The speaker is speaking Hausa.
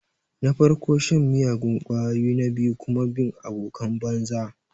Na farko shan miyagun ƙwayoyi na biyu kuma bin abokan banza.